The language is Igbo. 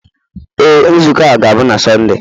Ee, nzukọ a ga-abụ na Sọnde.